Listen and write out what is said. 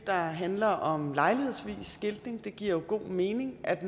der handler om lejlighedsvis skiltning for det giver jo god mening at